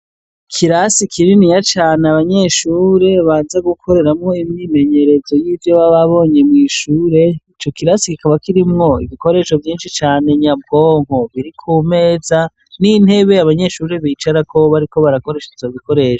Ikirasi kininiya cane abanyeshure baza gukoreramwo imyimenyerezo yivyo baba babonye mwishure, ico kirasi kikaba kirimwo ibikoresho vyinshi cane nyabwonko biri kumeza n'intebe abanyeshure bicarako bariko barakoresha ivyo bikoresho.